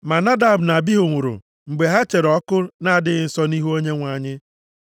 Ma Nadab na Abihu nwụrụ mgbe ha chere ọkụ na-adịghị nsọ nʼihu Onyenwe anyị.)